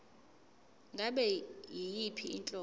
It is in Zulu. ngabe yiyiphi inhlobo